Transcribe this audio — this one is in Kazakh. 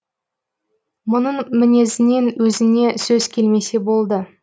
мұның мінезінен өзіне сөз келмесе болды